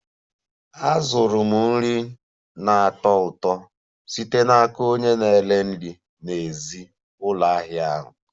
Azụrụ m nri nri na-atọ ụtọ site n'aka onye na-ere nri n'èzí ụlọ ahịa ahụ